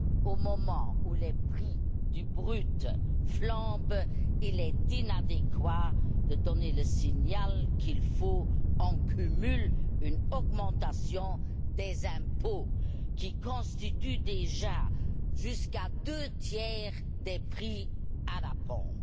Au moment où les prix du brut flambent, il est inadéquat de donner le signal qu'il faut, en plus, une augmentation des impôts, lesquels constituent déjà jusqu'à deux tiers des prix à la pompe.